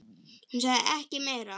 Hún sagði ekki meira.